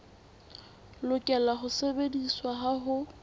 lokela ho sebediswa ha ho